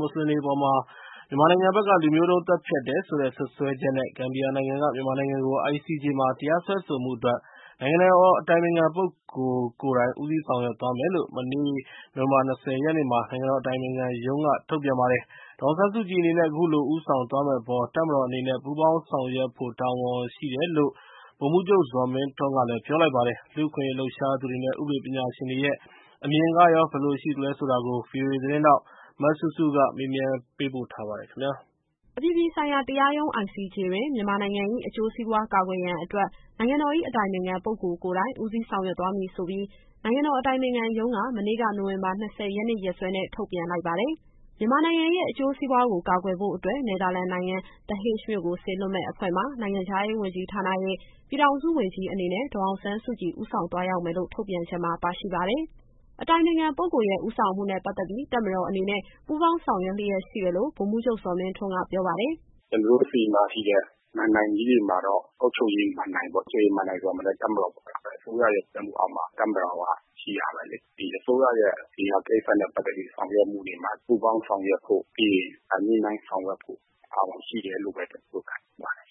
မွတ်စလင်တွေအပေါ် မြန်မာနိုင်ငံဘက်က လူမျိုးတုံးသတ်ဖြတ်တယ်ဆိုတဲ့ စွပ်စွဲချက်နဲ့ ဂမ်ဘီယာနိုင်ငံက မြန်မာနိုင်ငံကို ICJ မှာ တရားစွဲဆိုမှုအတွက် နိုင်ငံတော်အတိုင်ပင်ခံပုဂ္ဂိုလ် ကိုယ်တိုင်ဦးစီးဆောင်ရွက်သွားမယ်လို့ မနေ့က နိုဝင်ဘာ ၂၀ရက်နေ့မှာ နိုင်ငံတော်အတိုင်ပင်ခံရုံးက ထုတ်ပြန်ခဲ့ပါတယ်။ ဒေါ်အောင်ဆန်းစုကြည်အနေနဲ့ အခုလို ဦးဆောင်သွားမယ့်အပေါ် တပ်မတော်အနေနဲ့ ပူးပေါင်းဆောင်ရွက်ဖို့ တာဝန်ရှိတယ်လို့ ဗိုလ်မှူးချုပ် ဇော်မင်းထွန်းက ပြောထားပါတယ်။ ICJ အမှုအပေါ် လူ့အခွင့်အရေးလှုပ်ရှားသူတွေနဲ့ ဥပဒေပညာရှင်တွေရဲ့ အမြင်သဘောထားတွေကို စုစည်းပြီး ဗွီအိုအေသတင်းထောက် စုစုက သတင်းပေးပို့ထားပါတယ်။ အပြည်ပြည်ဆိုင်ရာတရားရုံး ICJ တွင် မြန်မာနိုင်ငံ၏အကျိုးစီးပွား ကာကွယ်ရန်အတွက် နိုင်ငံတော်၏ အတိုင်ပင်ခံ ပုဂ္ဂိုလ်ကိုယ်တိုင် ဦးစီးဆောင်ရွက်မည်ဆိုပြီး နိုင်ငံတော်အတိုင်ပင်ခံရုံးက မနေ့က နိုဝင်ဘာ ၂၀ ရက်နေ့ ရက်စွဲနဲ့ ထုတ်ပြန်လိုက်ပါတယ်။ မြန်မာနိုင်ငံရဲ့ အကျိုးစီးပွားကို ကာကွယ်ဖို့အတွက် နယ်သာလန်နိုင်ငံ The Hague မြို့ကိုစေလွှတ်မယ့် အဖွဲ့မှာ နိုင်ငံခြားရေးဝန်ကြီးဌာနရဲ့ ပြည်ထောင်စုဝန်ကြီးအနေနဲ့ ဒေါ်အောင်ဆန်းစုကြည် ဦးဆောင်သွားရောက်မယ်လို့ ထုတ်ပြန်ချက်မှာ ပါရှိပါတယ်။ အတိုင်ပင်ခံပုဂ္ဂိုလ်ရဲ့ ဦးဆောင်မှုနဲ့ပတ်သက်ပြီး တပ်မတော်အနေနဲ့ ပူးပေါင်းဆောင်ရွက်လျက်ရှိတယ်လို့ ဗိုလ်မှူးချုပ် ဇော်မင်းထွန်းက ပြောပါတယ်။ “ကျတော်တို့ဆီမှာရှိတဲ့ မဏ္ဍိုင်ကြီးတွေမှာတော့ အုပ်ချုပ်ရေးမဏ္ဍိုင်ပေါ့။ အုပ်ချုပ်ရေးမဏ္ဍိုင်ဆိုတာမှာလည်း တပ်မတော်ဆိုတာ အစိုးရရဲ့ကြီးကြပ်မှုအောက်မှာ တပ်မတော်ကရှိရမယ်လေ။ ဒီအစိုးရရဲ့ ဒီဟာကိစ္စနဲ့ ပတ်သက်ပြီး ဆောင်ရွက်မှုတွေမှာ ပူးပေါင်းဆောင်ရွက်ဖို့ ပြီးရင် ညှိနှိုင်းဆောင်ရွက်ဖို့ တာဝန်ရှိတယ်လို့ပဲ ကျတော်တို့ခံယူပါတယ်။”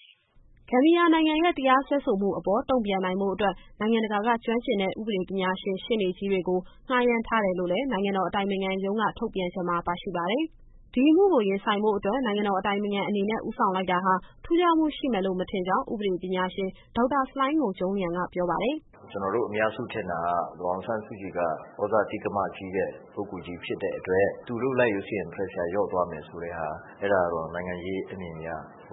ဂမ်ဘီယာနိုင်ငံရဲ့ တရားစွဲဆိုမှုအပေါ် တုန့်ပြန်နိုင်ဖို့အတွက် နိုင်ငံတကာက ကျွမ်းကျင်တဲ့ ဥပဒေပညာရှင် ရှေ့နေကြီးတွေကို ငှားရမ်းထားတယ်လို့လည်း နိုင်ငံတော်အတိုင်ပင်ခံရုံး ထုတ်ပြန်ချက်မှာပါရှိပါတယ်။ ဒီအမှုကို ရင်ဆိုင်ဖို့အတွက် နိုင်ငံတော်အတိုင်ပင်ခံအနေနဲ့ ဦးဆောင်လိုက်တာဟာ ထူးခြားမှုရှိမယ်လို့ မထင်ကြောင်း ဥပဒေပညာရှင် ဒေါက်တာ ဆလိုင်းငုံကျုံးလျန်က ပြောပါတယ်။ “ကျတော်တို့အများစုထင်တာက ဒေါ်အောင်ဆန်းစုကြည်က သြဇာတိက္ကမကြီးတဲ့ ပုဂ္ဂိုလ်ကြီးဖြစ်တဲ့အတွက် သူလုပ်လိုက်လို့ရှိရင် Pressure လျှော့သွားမယ်ဆိုတဲ့ဟာ အဲဒါတော့ နိုင်ငံရေးအမြင်အရ စ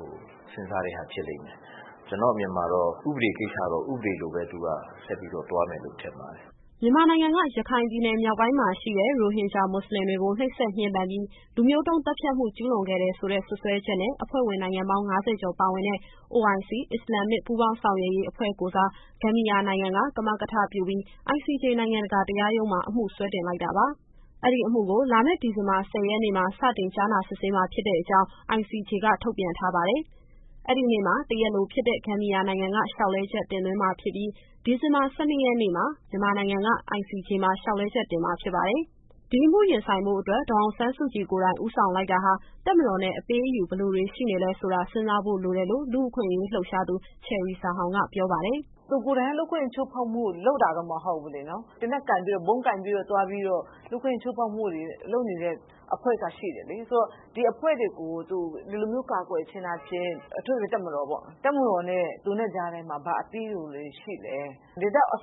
ဉ်းစားတဲ့ဟာ ဖြစ်လိမ့်မယ်။ ကျတော့်အမြင်မှာတော့ ဥပဒေကိစ္စတော့ ဥပဒေလိုပဲ သူကဆက်ပြီးတော့ သွားမယ်လို့ ထင်ပါတယ်။” မြန်မာနိုင်ငံက ရခိုင်ပြည်နယ်မြောက်ပိုင်းမှာရှိတဲ့ ရိုဟင်ဂျာမွတ်စလင်တွေကို နှိပ်စက်ညှဉ်းပန်းပြီး လူမျိုးတုံးသတ်ဖြတ်မှု ကျူးလွန်ခဲ့တယ်ဆိုတဲ့ စွပ်စွဲချက်နဲ့ အဖွဲ့ဝင်နိုင်ငံပေါင်း ၅၀ ကျော်ပါဝင်တဲ့ OIC အစ္စလာမ်မစ်ပူးပေါင်း ဆောင်ရွက်ရေးအဖွဲ့ကိုယ်စား ဂမ်ဘီယာနိုင်ငံက ကမကထပြုပြီး ICJ နိုင်ငံတကာတရားရုံးမှာ အမှုစွဲတင်လိုက်တာပါ။ အဲဒီအမှုကို လာမယ့် ဒီဇင်ဘာ ၁၀ရက်နေ့မှာ စတင်ကြားနာစစ်ဆေးမှာ ဖြစ်တဲ့အကြောင်း ICJ က ထုတ်ပြန်ထားပါတယ်။ အဲဒီနေ့မှာ တရားလိုဖြစ်တဲ့ ဂမ်ဘီယာနိုင်ငံက လျှောက်လဲချက်တင်သွင်းမှာဖြစ်ပြီး၊ ဒီဇင်ဘာ ၁၂ ရက်နေ့မှာ မြန်မာနိုင်ငံက ICJ မှာ လျှောက်လဲချက် တင်ရမှာဖြစ်ပါတယ်။ ဒီအမှုရင်ဆိုင်ဖို့အတွက် ဒေါ်အောင်ဆန်းစုကြည်ကိုယ်တိုင် ဦးဆောင်လိုက်တာဟာ တပ်မတော်နဲ့ အပေးအယူဘယ်လိုတွေ ရှိနေလဲဆိုတာ စဉ်းစားဖို့လိုတယ်လို့ လူ့အခွင့်အရေးလှုပ်ရှားသူ ချယ်ရီဇာဟောင်က ပြောပါတယ်။ “သူကိုယ်တိုင်က လူ့အခွင့်အရေးချိုးဖောက်မှုကို လုပ်တာတော့ မဟုတ်ဘူးလေနော်။ သေနတ်ကိုင်ပြီးတော့ ဗုံးကိုင်ပြီးတော့ သွားပြီးတော့ လူ့အခွင့်အရေးချိုးဖောက်မှုတွေ လုပ်နေတဲ့အဖွဲ့က ရှိတယ်လေ။ ဆိုတော့ ဒီအဖွဲ့တွေကို သူဒီလိုမျိုးကာကွယ်ခြင်းအားဖြင့် အထူးသဖြင့် တပ်မတော်ပေါ့။ တပ်မတော်နဲ့ သူနဲ့ကြားထဲမှာ ဘာအပေးအယူတွေရှိလဲ။ ဒီလောက် ဂိတ်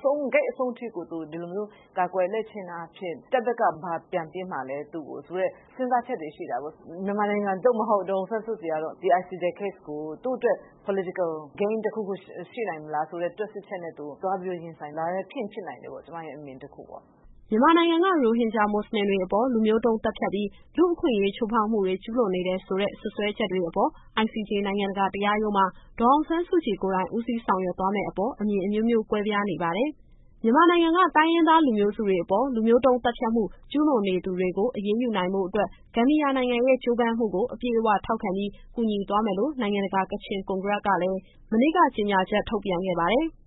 ဆုံးထိကို သူဒီလိုမျိုး ကာကွယ်လိုက်ခြင်းအားဖြင့် တပ်ဘက်ကဘာပြန်ပေးမှာလဲ သူ့ကိုဆိုတဲ့ စဉ်းစားချက်တွေရှိတာပေါ့။ မြန်မာနိုင်ငံ ဒေါ်အောင်ဆန်းစုကြည်ကတော့ ဒီ ICJ Case ကို သူ့အတွက် Political Game တခုခုရှိနိုင်မလားဆိုတဲ့ တွက်ဆချက်နဲ့ သူသွားပြီးတော့ ရင်ဆိုင်တာလည်း ဖြစ်ရင်ဖြစ်နိုင်တယ်ပေါ့။ ကျမရဲ့အမြင် တခုပေါ့။” မြန်မာနိုင်ငံက ရိုဟင်ဂျာမွတ်စလင်တွေအပေါ် လူမျိုးတုံးသတ်ဖြတ်ပြီး လူ့အခွင့်အရေးချိုးဖောက်မှုတွေ ကျူးလွန်နေတယ် ဆိုတဲ့ စွပ်စွဲချက်တွေအပေါ် ICJ နိုင်ငံတကာတရားရုံးမှာ ဒေါ်အောင်ဆန်းစုကြည်ကိုယ်တိုင် ဦးစီးဆောင်ရွက်သွားမယ့်အပေါ် အမြင်အမျိုးမျိုး ကွဲပြားနေပါတယ်။ မြန်မာနိုင်ငံက တိုင်းရင်းသားလူမျိုးစုတွေအပေါ် လူမျိုးတုန်းသတ်ဖြတ်မှု ကျူးလွန်နေသူတွေကို အရေးယူနိုင်ဖို့အတွက် ဂမ်ဘီယာနိုင်ငံရဲ့ ကြိုးပမ်းမှုကို အပြည့်အဝထောက်ခံပြီး ကူညီသွားမယ်လို့ နိုင်ငံတကာ ကချင်ကွန်ဂရက်ကလည်း မနေ့က ကြေညာချက် ထုတ်ပြန်ခဲ့ပါတယ်။